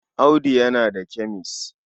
Audu yana da kemes.